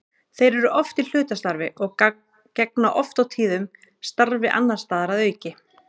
Þeir eru oft í hlutastarfi og gegna oft og tíðum starfi annars staðar að auki.